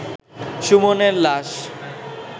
সুমনের লাশ